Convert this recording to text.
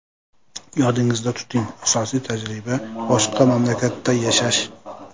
Yodingizda tuting, asosiy tajriba boshqa mamlakatda yashash!